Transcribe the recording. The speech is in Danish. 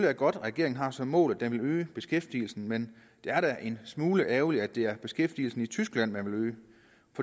er godt at regeringen har som mål at den vil øge beskæftigelsen men det er da en smule ærgerligt at det er beskæftigelsen i tyskland man vil